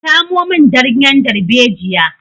Ka samo min ganyen darbejiya!